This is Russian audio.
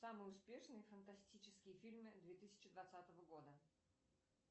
самые успешные фантастические фильмы две тысячи двадцатого года